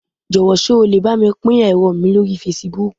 Jọ́wọ̀ sé o lè bámi pín ẹ̀rọ mi lórí Fasibúùkù